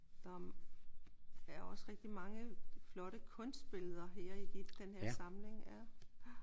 Der er også rigtig mange flotte kunstbilleder her i den her samling